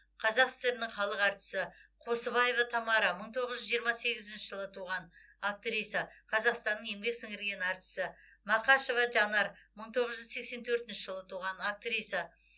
қазақ сср інің халық әртісі қосыбаева тамара мың тоғыз жүз жиырма сегізінші жылы туған актриса қазақстанның еңбек сіңірген әртісі мақашева жанар мың тоғыз жүз сексен төртінші жылы туған актриса